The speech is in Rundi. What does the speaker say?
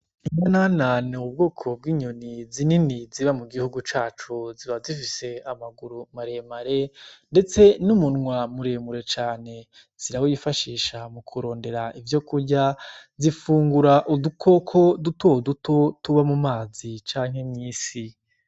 Imwo nanane wubwoko bw'inyoni zinini ziba mu gihugu cacu ziba zifise amaguru maremare, ndetse n'umunwa muremure cane zirawifashisha mu kurondera ivyo kurya zifungura udukoko dutoduto tuba mu mazi canke mw'isi.